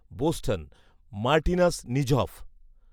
Boston Martinus Nijhoff